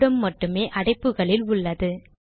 வருடம் மட்டுமே அடைப்புகளில் உள்ளது